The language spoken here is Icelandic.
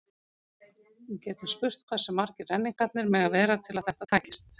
Við getum spurt hversu margir renningarnir mega vera til að þetta takist.